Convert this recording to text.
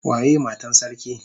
Waye Matan sarki?